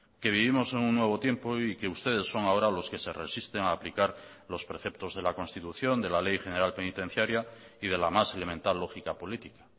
que vivimos en un nuevo tiempo y que ustedes son ahora los que se resisten a aplicar los preceptos de la constitución de la ley general penitenciaria y de la más elemental lógica política